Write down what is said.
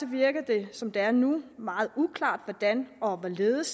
virker det som det er nu meget uklart hvordan og hvorledes